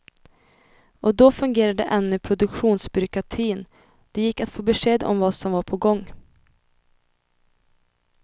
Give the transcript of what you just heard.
Och då fungerade ännu produktionsbyråkratin, det gick att få besked om vad som var på gång.